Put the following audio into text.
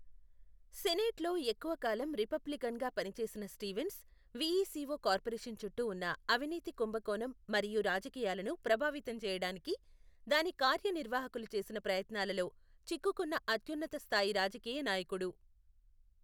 సెనేట్లో ఎక్కువ కాలం రిపబ్లికన్గా పనిచేసిన స్టీవెన్స్, వీఈసిఓ కార్పొరేషన్ చుట్టూ ఉన్న అవినీతి కుంభకోణం మరియు రాజకీయాలను ప్రభావితం చేయడానికి, దాని కార్యనిర్వాహకులు చేసిన ప్రయత్నాలలో చిక్కుకున్న అత్యున్నత స్థాయి రాజకీయ నాయకుడు.